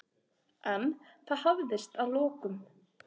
En það hafðist að lokum.